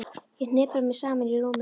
Ég hnipra mig saman í rúminu.